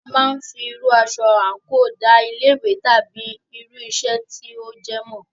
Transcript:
A máà ń fí irú aṣọ àńkò da ilé ìwé tàbí irú iṣẹ́ tí o jẹ́ mọ̀.